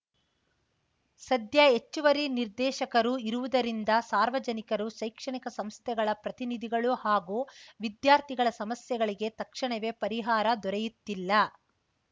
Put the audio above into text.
ಸದ್ಯ ಹೆಚ್ಚುವರಿ ನಿರ್ದೇಶಕರು ಇರುವುದರಿಂದ ಸಾರ್ವಜನಿಕರು ಶೈಕ್ಷಣಿಕ ಸಂಸ್ಥೆಗಳ ಪ್ರತಿನಿಧಿಗಳು ಹಾಗೂ ವಿದ್ಯಾರ್ಥಿಗಳ ಸಮಸ್ಯೆಗಳಿಗೆ ತಕ್ಷಣವೇ ಪರಿಹಾರ ದೊರೆಯುತ್ತಿಲ್ಲ